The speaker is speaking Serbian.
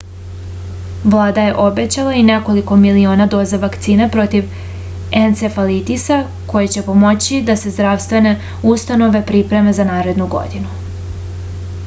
vlada je obećala i nekoliko miliona doza vakcine protiv encefalitisa koje će pomoći da se zdravstvene ustanove pripreme za narednu godinu